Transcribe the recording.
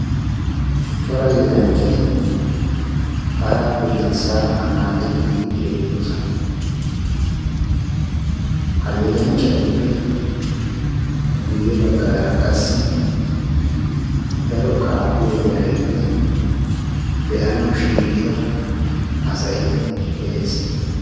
cora yetanchchati paraa piriissa anaacettiidi beettoosona. ha yedanchchatuppe guyye baggaara qassi daro kaafiya yaraynne be'anawu shiiqida asay de'ees.